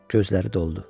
Gözləri doldu.